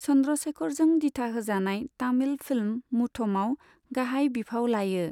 चंद्रशेखरजों दिथाहोजानाय तामिल फिल्म मुथमाव गाहाय बिफाव लायो।